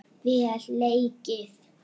Vel leikið.